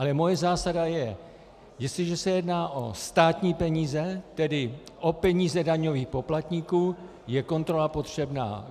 Ale moje zásada je: Jestliže se jedná o státní peníze, tedy o peníze daňových poplatníků, je kontrola potřebná.